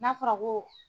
N'a fɔra ko